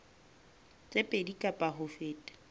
tse pedi kapa ho feta